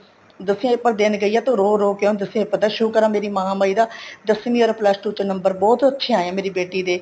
ਦਸਵੀ ਦੇ paper ਦੇਣ ਗਈ ਆ ਤੇ ਉਹਦੇ ਰੋਹ ਰੋਹ ਕੇ ਉਹਨੇ ਦਸਵੀ ਦੇ paper ਦਿੱਤਾ ਸ਼ੁਕਰ ਹੈ ਮੇਰੀ ਮਹਾਮਾਹੀ ਦਾ ਦਸਵੀ or plus two ਚੋ ਨੰਬਰ ਬਹੁਤ ਅੱਚੇ ਆਏ ਹੈ ਮੇਰੀ ਬੇਟੀ ਦੇ